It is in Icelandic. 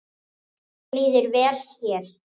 Mér líður vel hér.